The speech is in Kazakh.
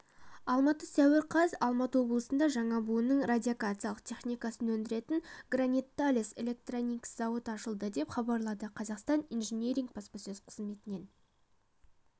алматы сәуір қаз алматы облысында жаңа буынның радиолокациялық техникасын өндіретін гранит-талес электроникс зауыты ашылды деп хабарлады қазақстан инжиниринг баспасөз қызметінен